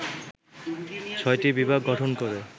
৬টি বিভাগ গঠন করে